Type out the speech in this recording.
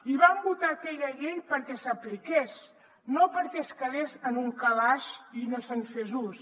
i vam votar aquella llei perquè s’apliqués no perquè quedés en un calaix i no se’n fes ús